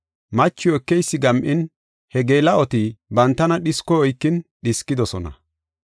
Machiw ekeysi gam7in, he geela7oti bantana dhiskoy oykin dhiskidosona.